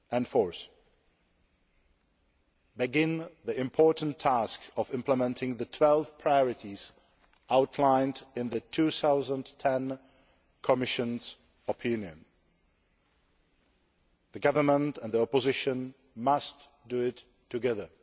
Fourth, begin the important task of implementing the 12 priorities outlined in the 2010 Commission opinion. The government and opposition must do it together.